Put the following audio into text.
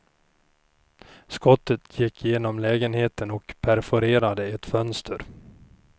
Skottet gick genom lägenheten och perforerade ett fönster.